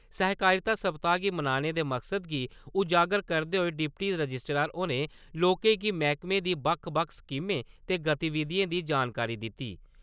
सहकारिता सप्ताह गी मनाने दे मकसद गी उजागर करदे होई डिप्टी रजिस्ट्रार होरें लोकें गी मैहकमे दी बक्ख बक्ख स्कीमें ते गतिविधिएं दी जानकारी दित्ती ।